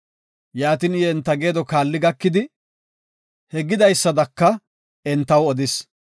Yaatin I enta geedo kaali gakidi, he gidaysadaka entaw odis.